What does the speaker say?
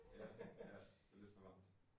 Ja, ja. Det lidt for varmt